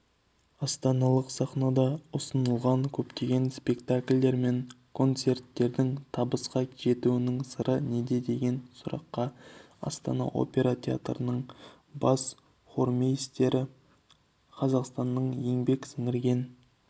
астаналық сахнада ұсынылған көптеген спектакльдер мен концерттердің табысқа жетуінің сыры неде деген сұраққа астана опера театрының бас хормейстері қазақстанның еңбек сіңірген